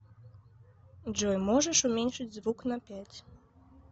джой можешь уменьшить звук на пять